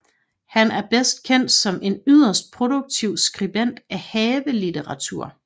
Han er bedst kendt som en yderst produktiv skribent af havelitteratur